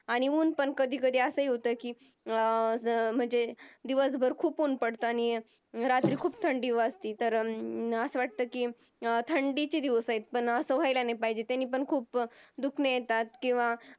आणि ऊन पण कधीकधी असं होतं की अं म्हणजे दिवसभर खूप ऊन पडतं आणि रात्री खूप थंडी वाजते कधीतर असं वाटतं की थंडीचे दिवस आहेत, असं व्हायला नाही पाहिजे त्यनीपण खूप दुखणी होतात.